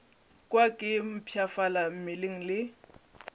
kwa ke mpshafala mmeleng le